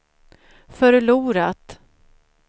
förlorat